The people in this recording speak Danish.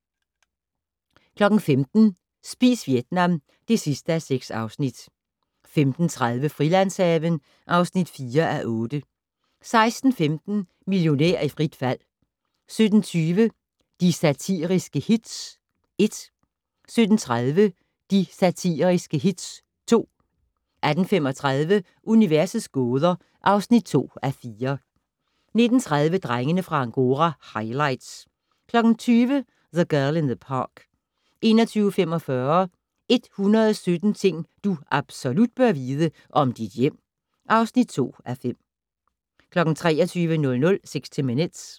15:00: Spis Vietnam (6:6) 15:30: Frilandshaven (4:8) 16:15: Millionær i frit fald 17:20: De Satiriske Hits (1) 17:30: De Satiriske Hits (2) 18:35: Universets gåder (2:4) 19:30: Drengene fra Angora - highlights 20:00: The Girl in the Park 21:45: 117 ting du absolut bør vide - om dit hjem (2:5) 23:00: 60 Minutes